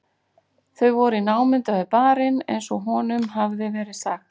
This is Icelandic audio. Þau voru í námunda við barinn eins og honum hafði verið sagt.